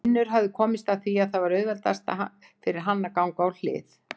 Finnur hafði komist að því að það var auðveldast fyrir hann að ganga á hlið.